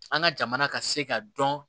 An ka jamana ka se ka dɔn